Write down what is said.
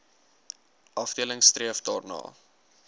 afdeling streef daarna